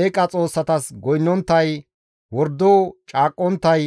eeqa xoossatas goynnonttay, wordo caaqqonttay,